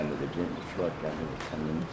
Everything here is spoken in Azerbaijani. Qışvar kəndidir, bizim Qışvar kəndidir.